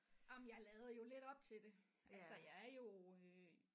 Jamen jeg lader jo lidt op til altså jeg er jo øh